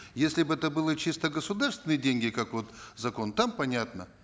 если бы это было чисто государственные деньги как вот закон там понятно